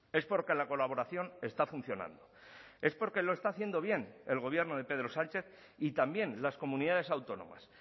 es porque la colaboración está funcionando es porque lo está haciendo bien el gobierno de pedro sánchez y también las comunidades autónomas